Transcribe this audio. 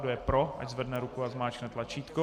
Kdo je pro, ať zvedne ruku a zmáčkne tlačítko.